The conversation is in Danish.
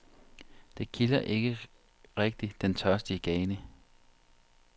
Det kilder ikke rigtigt den tørstige gane.